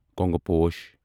کۄنگہٕ پوش